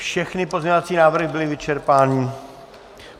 Všechny pozměňovací návrhy byly vyčerpané.